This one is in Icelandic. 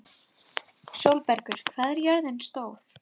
Sólbergur, hvað er jörðin stór?